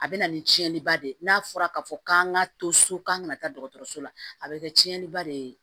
A bɛ na ni tiɲɛniba de ye n'a fɔra k'a fɔ k'an ka to so k'an kana taa dɔgɔtɔrɔso la a bɛ kɛ tiɲɛniba de ye